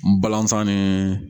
N balazan ni